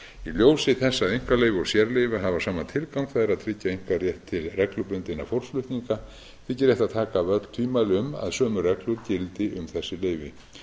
ljósi þess að einkaleyfi og sérleyfi hafa sama tilgang það er að tryggja einkarétt til reglubundinna fólksflutninga þykir rétt að taka af öll tvímæli um að sömu reglur gildi um þessi leyfi ég